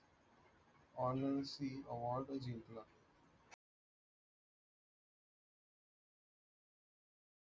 award जिंकला